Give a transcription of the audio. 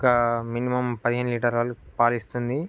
ఒక మినిమమ్ పదిహేను లీటరు లా పాలిస్తుంది.